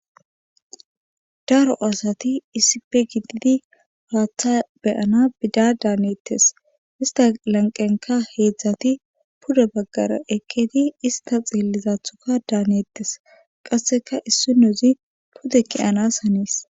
Daro asati issipe gididi haaththa beyana bida daanettes ista lanqenka heedzdzati puda baggara ekketi ista xiellizathuka daaneettes qasseka issi nozi pude keyanas haniis.